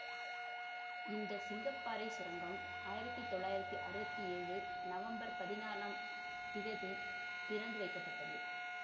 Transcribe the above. இந்த சிங்க பாறை சுரங்கம் ஆயிரத்தி தொள்ளாயிரத்தி அறுபத்தி ஏழு நவம்பர் பதினாளாம் திகதி திறந்து வைக்கப்பட்டது